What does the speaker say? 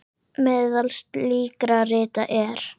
Meðal slíkra rita er